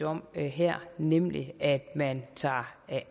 om her nemlig at man tager